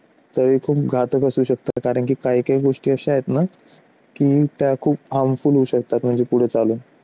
तरी खूप खातच घातक असू शकतं कारण की काही काही गोष्टी अशा आहेत ना की त्या खूप harmful होऊ शकतात पुढे चालू